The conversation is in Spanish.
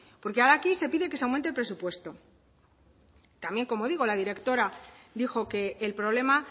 porque ahora aquí se pide que se aumente el presupuesto también como digo la directora dijo que el problema